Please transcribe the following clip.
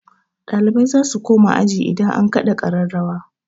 Ɗalibai zasu koma aji idan an kaɗa ƙararrawa.